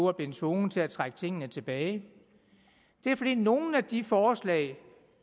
er blevet tvunget til at trække tingene tilbage det er fordi nogle af de forslag